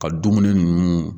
Ka dumuni ninnu